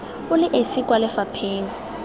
o le esi kwa lefapheng